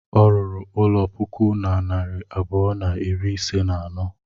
Ọ rụrụ ụlọ puku na narị abụọ na iri ise na anọ.